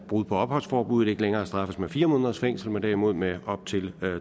brud på opholdsforbuddet ikke længere straffes med fire måneders fængsel men derimod med op til